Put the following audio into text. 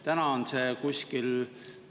Nüüd on see kuskil …